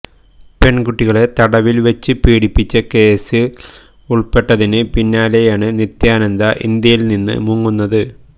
പെണ്കുട്ടികളെ തടവില്വച്ച് പീഡിപ്പിച്ച കേസില് ഉള്പ്പെട്ടതിന് പിന്നാലെയാണ് നിത്യാനന്ദ ഇന്ത്യയില് നിന്ന് മുങ്ങുന്നത്